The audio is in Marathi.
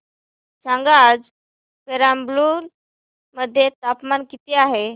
सांगा आज पेराम्बलुर मध्ये तापमान किती आहे